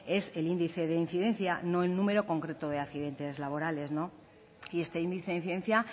es el índice de incidencia no el número concreto de accidentes laborales y este índice de incidencia